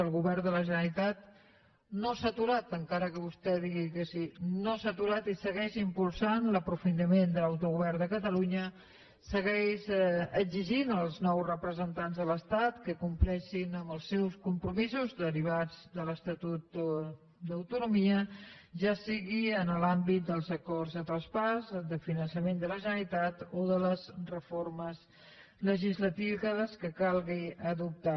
el govern de la generalitat no s’ha aturat encara que vostè digui que sí no s’ha aturat i segueix impulsant l’aprofitament de l’autogovern de catalunya segueix exigint als nous representants de l’estat que compleixin amb els seus compromisos derivats de l’estatut d’autonomia ja sigui en l’àmbit dels acords de traspàs de finançament de la generalitat o de les reformes legislatives que calgui adoptar